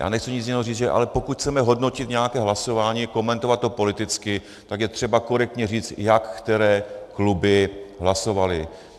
Já nechci nic jiného říct, ale pokud chceme hodnotit nějaké hlasování, komentovat to politicky, tak je třeba korektně říct, jak které kluby hlasovaly.